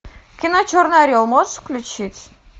кино черный орел можешь включить